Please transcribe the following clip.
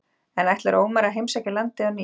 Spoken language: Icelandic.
En ætlar Ómar að heimsækja landið á ný?